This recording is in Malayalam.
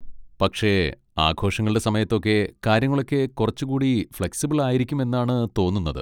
പക്ഷേ ആഘോഷങ്ങളുടെ സമായത്തൊക്കെ കാര്യങ്ങളൊക്കെ കുറച്ചുകൂടി ഫ്ലെക്സിബിൾ ആയിരിക്കും എന്നാണ് തോന്നുന്നത്.